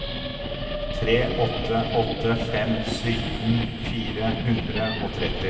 tre åtte åtte fem sytten fire hundre og tretti